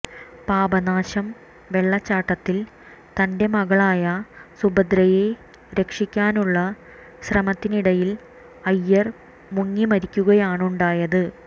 പാപനാശം വെള്ളച്ചാട്ടത്തിൽ തന്റെ മകളായ സുഭദ്രയെ രക്ഷിക്കാനുള്ള ശ്രമത്തിനിടയിൽ അയ്യർ മുങ്ങിമരിക്കുകയാണുണ്ടായത്